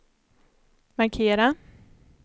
markera